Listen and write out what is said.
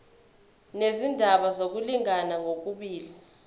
nezindaba zokulingana ngokobulili